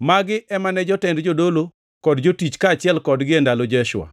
Magi ema ne jotend jodolo kod jotich kaachiel kodgi e ndalo Jeshua.